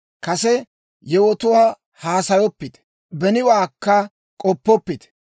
«Kase yewotuwaa haasayoppite; beniwaakka k'oppoppite.